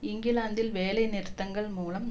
இங்கிலாந்தில் வேலை நிறுத்தங்கள் மூலம்